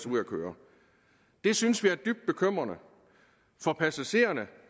ud at køre det synes vi er dybt bekymrende for passagererne